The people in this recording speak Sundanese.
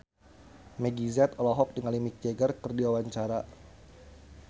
Meggie Z olohok ningali Mick Jagger keur diwawancara